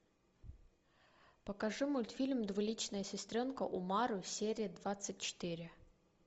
покажи мультфильм двуличная сестренка умару серия двадцать четыре